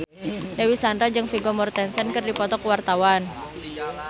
Dewi Sandra jeung Vigo Mortensen keur dipoto ku wartawan